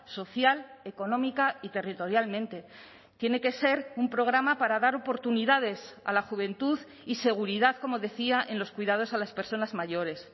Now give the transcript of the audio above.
social económica y territorialmente tiene que ser un programa para dar oportunidades a la juventud y seguridad como decía en los cuidados a las personas mayores